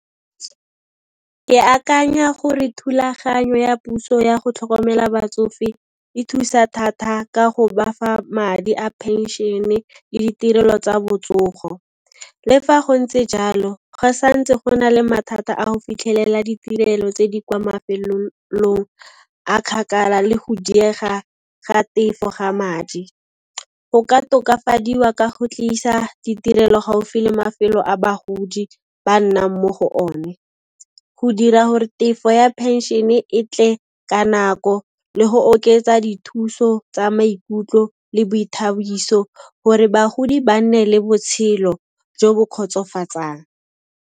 Ke akanya gore thulaganyo ya puso ya go tlhokomela batsofe e thusa thatha ka go ba fa madi a phenšene le ditirelo tsa botsogo. Le fa go ntse jalo, go santse go na le mathata a go fitlhelela ditirelo tse di kwa mafelong a kgakala le go diega ga tefo ga madi. Go ka tokafadiwa ka go tlisa ditirelo gaufi le mafelo a bagodi ba nnang mo go one, go dira gore tefo ya phenšene e tle ka nako le go oketsa dithuso tsa maikutlo le boithabiso gore bagodi ba nne le botshelo jo bo kgotsofatsang.